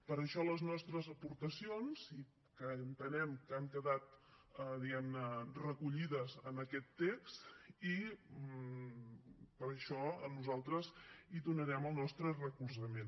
per això les nostres aportacions que entenem que han quedat diguem ne recollides en aquest text i per això nosaltres hi donarem el nostre recolzament